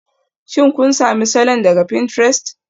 Shin kun sami salon daga pinterest?